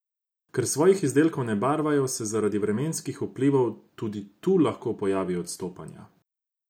Ker svojih izdelkov ne barvajo, se zaradi vremenskih vplivov tudi tu lahko pojavijo odstopanja.